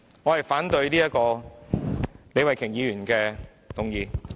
我反對李慧琼議員的議案。